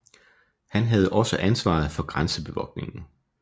Han havde også ansvaret for grænsebevogtningen